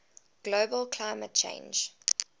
global climate change